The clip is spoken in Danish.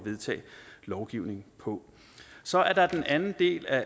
vedtage lovgivning på så er der den anden del af